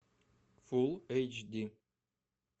фулл эйч ди